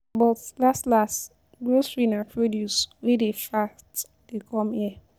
But last last, grocery na produce wey dey fat dey come there.